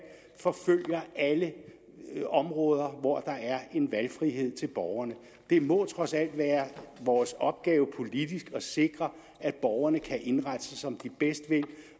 forfølger alle områder hvor der er en valgfrihed til borgerne det må trods alt være vores opgave politisk at sikre at borgerne kan indrette sig som de bedst vil